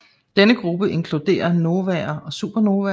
Denne gruppe inkluderer novaer og supernovaer